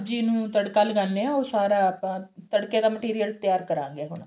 ਸਬਜੀ ਨੂੰ ਤੜਕਾ ਲਗਾਉਣੇ ਆ ਉਹ ਸਾਰਾ ਆਪਾਂ ਤੜਕੇ ਦਾ material ਤਿਆਰ ਕਰਾਂਗੇ ਹੁਣ